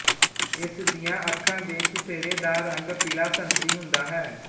ਇਸ ਦੀਆਂ ਅੱਖਾਂ ਦੇ ਚੁਫੇਰੇ ਦਾ ਰੰਗ ਪੀਲਾਸੰਤਰੀ ਹੁੰਦਾ ਹੈ